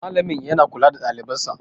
Malamin yana kula da ɗalibansa